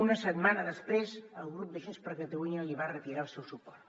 una setmana després el grup de junts per catalunya li va retirar el seu suport